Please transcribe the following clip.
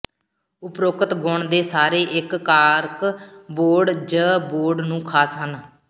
ਉਪਰੋਕਤ ਗੁਣ ਦੇ ਸਾਰੇ ਇੱਕ ਕਾਰ੍ਕ ਬੋਰਡ ਜ ਬੋਰਡ ਨੂੰ ਖਾਸ ਹਨ